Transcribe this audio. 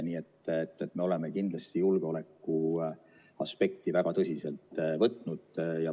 Nii et me oleme kindlasti julgeolekuaspekti väga tõsiselt võtnud.